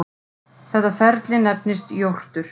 Þetta ferli nefnist jórtur.